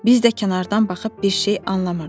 Biz də kənardan baxıb bir şey anlamırdıq.